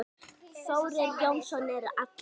Þórir Jónsson er allur.